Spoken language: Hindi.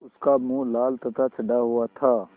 उसका मुँह लाल तथा चढ़ा हुआ था